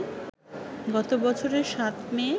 গত বছরের ৭ মে